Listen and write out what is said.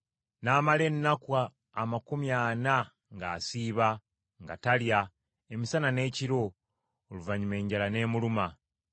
N’amala ennaku amakumi ana ng’asiiba, nga talya, emisana n’ekiro, oluvannyuma enjala n’emuluma.